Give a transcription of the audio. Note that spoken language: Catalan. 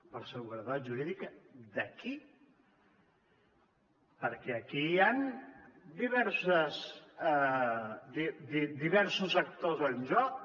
per seguretat jurídica de qui perquè aquí hi han diversos actors en joc